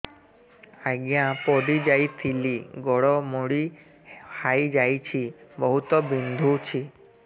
ଆଜ୍ଞା ପଡିଯାଇଥିଲି ଗୋଡ଼ ମୋଡ଼ି ହାଇଯାଇଛି ବହୁତ ବିନ୍ଧୁଛି